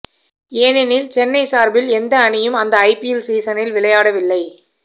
ஏனெனில் சென்னை சார்பில் எந்த அணியும் அந்த ஐபிஎல் சீசனில் விளையாடவில்லை